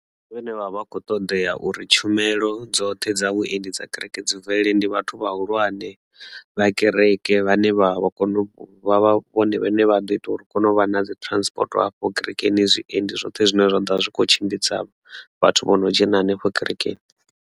Vhane vha vha kho ṱoḓea uri tshumelo dzoṱhe dza vhuendi dza kereke dzi mvelele ndi vhathu vhahulwane vha kereke vhane vhavha vha kone u vha vhone vhane vha ḓo ita uri kone u vha na dzi transport hafho kerekeni zwiendi zwoṱhe zwine zwa ḓovha zwi kho tshimbidza vhathu vho no dzhena hanefho kerekeni.